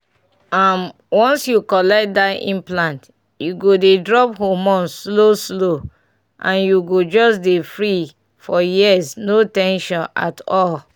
um once you collect that implant e go dey drop hormone slow-slow — and you go just dey free for years no ten sion at all!